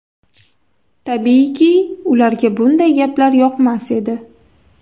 Tabiiyki, ularga bunday gaplar yoqmas edi.